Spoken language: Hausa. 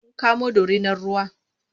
Sun kamo dorinar ruwa.